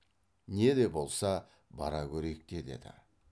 не де болса бара көрейік те деді